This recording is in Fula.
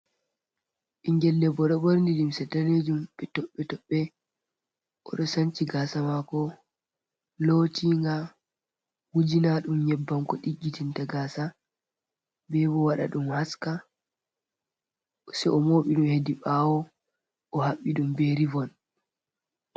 Ɓinngel debbo ɓorni limse daneejum, bee toɓɓe-toɓɓe, oɗo sanci gaasa maako, lootiiga, wujinaaɗum nyebbam ko ɗiggiɗinta gaasa. Bee bo waɗa ɗum haska, sai o mooɓi hedi ɓaawo, o haɓɓi bee ribon.